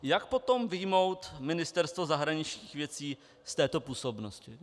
Jak potom vyjmout Ministerstvo zahraničních věcí z této působnosti?